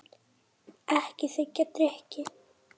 Ekki þiggja drykki.